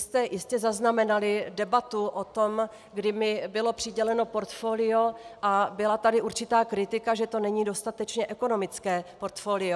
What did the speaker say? Jistě jste zaznamenali debatu o tom, kdy mi bylo přiděleno portfolio a byla tady určitá kritika, že to není dostatečně ekonomické portfolio.